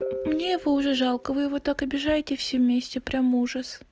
мне его уже жалко вы его так обижаете все вместе прямо ужас